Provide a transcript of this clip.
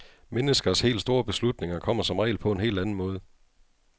Menneskers helt store beslutninger kommer som regel på en helt anden måde.